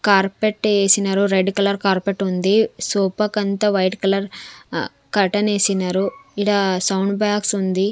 Carpet ఏసినారు red colour carpet ఉంది sofa కంతా వైట్ కలర్ ఆ కర్టన్ వేసినారు ఇడ సౌండ్ బాక్స్ ఉంది.